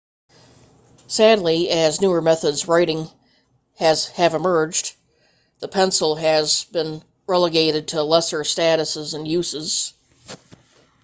sadly as newer methods of writing have emerged the pencil has been relegated to lesser status and uses